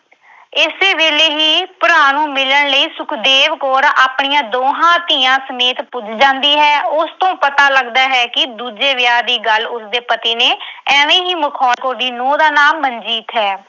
ਇਸੇ ਵੇਲੇ ਹੀ ਭਰਾ ਨੂੰ ਮਿਲਣ ਲਈ ਸੁਖਦੇਵ ਕੌਰ ਆਪਣੀਆਂ ਦੋਹਾਂ ਧੀਆਂ ਸਮੇਤ ਪੁੱਜ ਜਾਂਦੀ ਹੈ। ਉਸ ਤੋਂ ਪਤਾ ਲੱਗਦਾ ਹੈ ਕਿ ਦੂਜੇ ਵਿਆਹ ਦੀ ਗੱਲ ਉਸਦੇ ਪਤੀ ਨੇ ਐਵੇਂ ਹੀ ਮਖੌਲ ਅਹ ਦੀ ਨੂੰਹ ਦਾ ਨਾਂ ਮਨਜੀਤ ਹੈ